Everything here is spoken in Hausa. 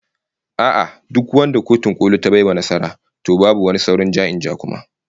A'a, duk wanda Kotun Koli ta bai wa nasara, to babu sauran wani ja-in-ja kuma